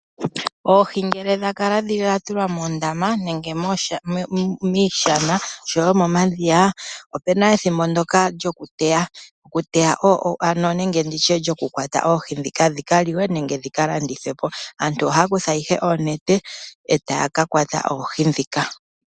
Oohi ngele dhakala dhatulwa moondama nenge miishana oshowo momadhiya opuna ethimbo ndyoka lyokuteya nenge nditye lyokukwata oohi dhika dhika liwe nenge dhika landithwe po. Aantu ohaya kutha ihe oonete eta ya ka kwata oohi dhika.